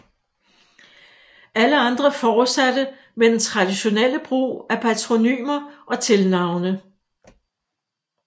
Alle andre fortsatte med den traditionelle brug af patronymer og tilnavne